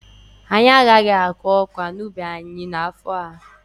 Anyị agaghị akụ ọka n'ubi anyị n'afọ a.